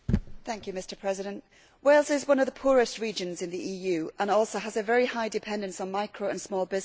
Mr President, Wales is one of the poorest regions in the EU and also has a very high dependence on micro and small businesses.